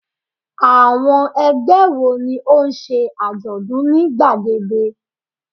Àwọn ẹgbẹ́ wo ni ó ń ṣe àjọ̀dún ní gbàgede?